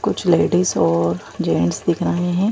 कुछ लेडीज और जेंट्स दिख रहे हैं।